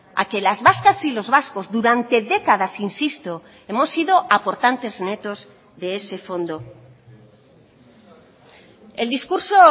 a que las vascas y los vascos durante décadas insisto hemos sido aportantes netos de ese fondo el discurso